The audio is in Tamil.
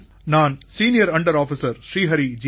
நான் senior under officer Shri Hari ஜீ